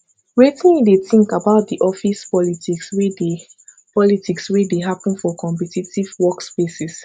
wetin you dey think about di office politics wey dey politics wey dey happen for competitive workspaces